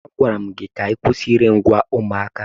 Agwara m gị kwụsị ire ngwa ụmụaka!